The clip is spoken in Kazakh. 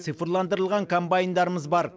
цифрландырылған комбайндарымыз бар